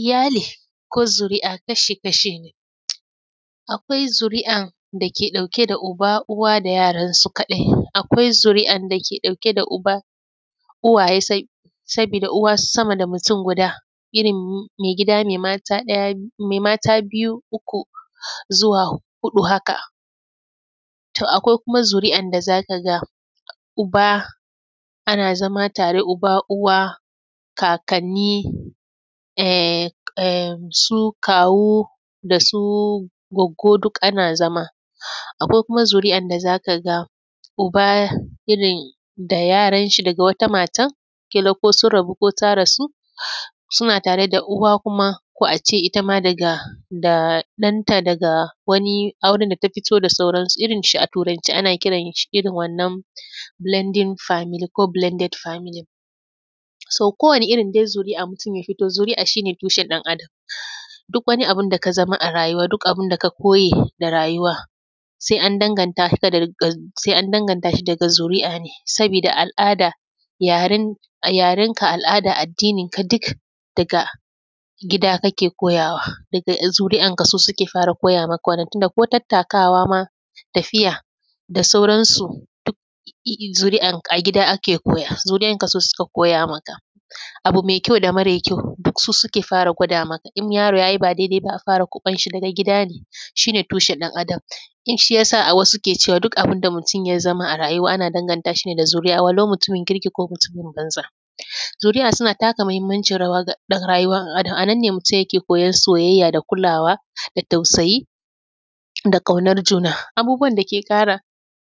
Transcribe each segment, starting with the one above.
Iyali ko zuri’a kashi-kashi ne. Akwai zur’an da ke ɗauke da uba, uwa da yaransu kaɗai, akwai zuri’an da ke ɗauke da uba, uwaye sai, sabida da uwa sama da mutun guda, irin maigida mai mata ɗaya; mai mata biyu, uku zuwa huɗu haka. To, akwai kuma zuri’an da za ka ga, uba, ana zama tare, uba, uwa, kakanni, ehh; eh, su kawu da su goggo du kana zama. Akwai kuma zuri’an da za ka ga uba irin da yaranshi daga wata matanl kila ko sun rabu ko ta rasu. Suna tare da uwa kuma, ko a ce ita ma daga, da ɗanta daga wani auren da ta fito da sauransu. Irin shi, a Turance ana kiran shi, irin wannan “blanding Family” ko “blanded Family”. “So”, kowane irin dai zuri’a mutun ya fito, zuri’a shi ne tushen ɗan Adam. Duk wani abin da ka zama a rayuwa, duk abin da ka koye ga rayuwa, se an danganta ka da; da; se an danganta shi daga zuri’a ne, sabida al’ada, yaren; yarenka, al’ada, addininka, duk daga gida kake koyawa. Daga, zuri’anka su suke fara koya maka wannan, tun da ko tattakawa ma, tafiya da sauransu, duk i’i; zuri’an a gida ake koya, zuri’anka su suka koya maka. Abu me kyau da mare kyau, duk su suke fara gwada maka, in yaro ya yi ba dedeba, a fara kwaƃan shi daga gida, shi ne tushen ɗan Adam. In shi ya sa a wasu ke cewa, duk abun da mutun ya zama a rayuwa, ana danganta shi ne da zuri’a, walau mutumin kirki ko mutumin banza. Zuri’a suna taka muhimmancin rayuwa ga ɗan; rayuwa, a; da a nan ne mutun yake koyan soyayya da kulawa da tausayi da ƙaunar juna. Abubuwan da ke ƙara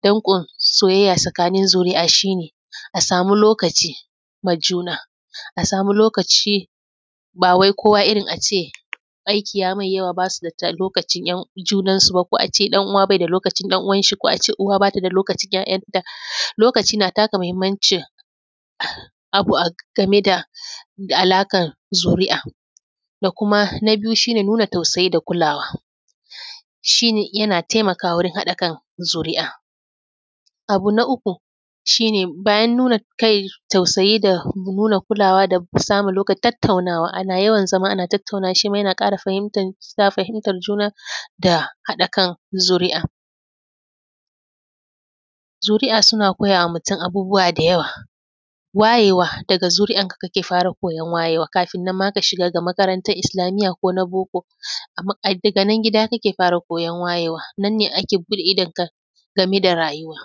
danƙon soyayya sakanin zuri’a shi ne, a samu lokaci ma juna, a samu lokaci ba wai kowa irin a ce, aiki ya mai yawa, ba su da ta; lokacin ‘yan; junansu ba, ko a ce ɗan’uwa be da lokacin ɗan’uwanshi ko a ce uwa ba ta da lokacin ‘ya’yanta. Lokaci na taka mahimmanci abu a; game da a alaƙan zuri’a. Da kuma, na biyu, shi ne nuna tausayi da kulawa, shi ne yana temakawa wurin haɗa kan zuri’a. Abu na uku, shi ne, bayan nuna kai, tausayi da nuna kulawa da k; samun lokaci, tattaunawa. Ana yawan zama ana tattaunawa, shi ma yana ƙara fahimtan; sa fahimtar juna da haɗa kan zuri’a. Zuri’a suna koya wa mutun abubuwa da yawa, wayewa, daga zuri’anka kake fara koyan wayewa, kafin nan ma ka shiga ga makarantan isilamiyya ko na book, ama afi ga nan gida kake fara koyon wayewa. Nan ne ake buɗe idanta, game da rayuwa.